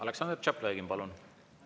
Aleksandr Tšaplõgin, palun!